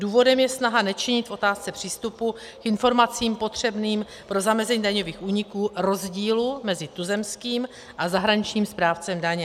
Důvodem je snaha nečinit v otázce přístupu k informacím potřebným pro zamezení daňových úniků rozdílu mezi tuzemským a zahraničním správcem daně.